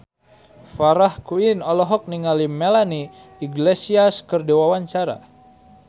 Farah Quinn olohok ningali Melanie Iglesias keur diwawancara